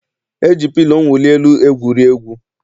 E ji pilo mwuli elu egwuri egwu.